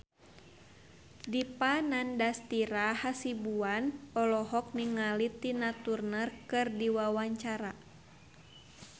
Dipa Nandastyra Hasibuan olohok ningali Tina Turner keur diwawancara